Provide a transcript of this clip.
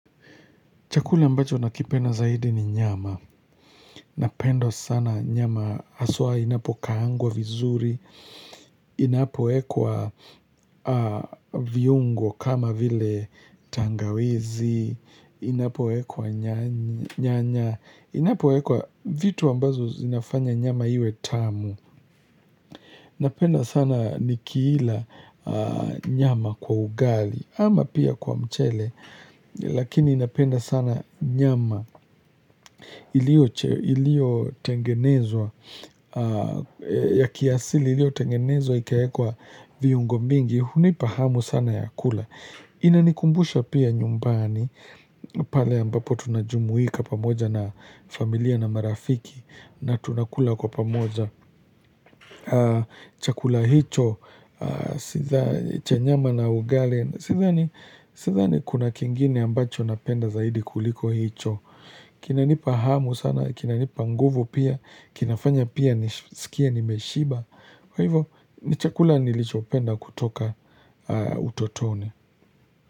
Chakula ambacho nakipenda zaidi ni nyama. Napenda sana nyama haswa inapokaangwa vizuri. Inapowekwa viungo kama vile tangawizi. Inapo ekwa nyanya. Inapowekwa vitu ambazo zinafanya nyama iwe tamu. Napenda sana nikiila nyama kwa ugali ama pia kwa mchele. Lakini napenda sana nyama. Iliotengenezwa ya kiasili iliotengenezwa ikaekwa viungo mingi hunipa hamu sana ya kula inanikumbusha pia nyumbani pale ambapo tunajumuika pamoja na familia na marafiki na tunakula kwa pamoja chakula hicho cha nyama na ugali sidhani kuna kingine ambacho napenda zaidi kuliko hicho kinanipa hamu sana, kinanipa nguvu pia, kinafanya pia nisikie nimeshiba kwa hivo, ni chakula nilichopenda kutoka utotoni.